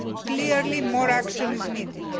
Clearly, more action is needed.